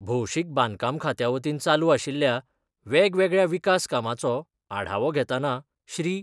भौशीक बांदकाम खात्यावतीन चालू आशिल्ल्या वेगवेगळया विकास कामाचो आढावो घेताना श्री.